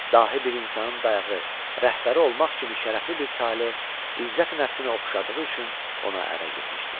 Dahi bir insanın dayağı, rəhbəri olmaq kimi şərəfli bir tale, izzəti nəfsinə oxşadığı üçün ona ərə getmişdi.